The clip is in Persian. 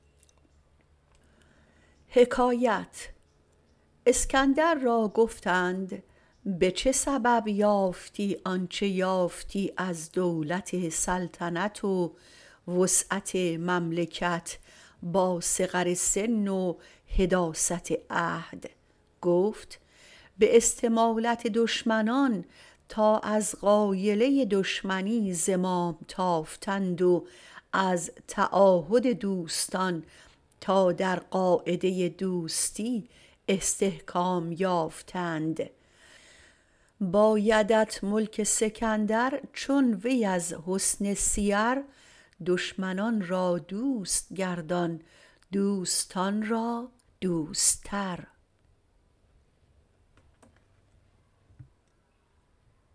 اسکندر را گفتند به چه سبب یافتی آنچه یافتی از دولت سلطنت و وسعت مملکت با صغر سن و حداثت عهد گفت به استمالت دشمنان تا از غایله دشمنی زمام تافتند و از تعاهد دوستان تا در قاعده دوستی استحکام یافتند بایدت ملک سکندر چون وی از حسن سیر دشمنان را دوست گردان دوستان را دوستر